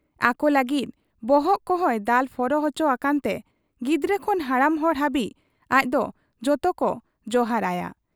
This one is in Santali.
ᱟᱠᱚ ᱞᱟᱹᱜᱤᱫ ᱵᱚᱦᱚᱜ ᱠᱚᱦᱚᱸᱭ ᱫᱟᱞ ᱯᱷᱚᱨᱚ ᱚᱪᱚ ᱟᱠᱟᱱᱛᱮ ᱜᱤᱫᱽᱨᱟᱹ ᱠᱷᱚᱱ ᱦᱟᱲᱟᱢ ᱦᱚᱲ ᱦᱟᱹᱵᱤᱡ ᱟᱡᱫᱚ ᱡᱚᱛᱚᱠᱚ ᱡᱚᱦᱟᱨᱟᱭᱟ ᱾